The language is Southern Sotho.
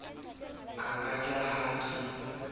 ke a ja ha ke